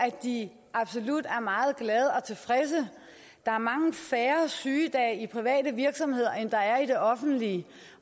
at de absolut er meget glade og tilfredse der er mange færre sygedage i private virksomheder end der er i det offentlige